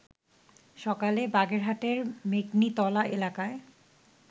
সকালে বাগেরহাটের মেগনিতলা এলাকায়